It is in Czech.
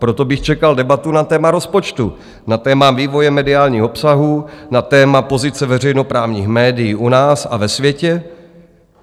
Proto bych čekal debatu na téma rozpočtu, na téma vývoje mediálních obsahů, na téma pozice veřejnoprávních médií u nás a ve světě.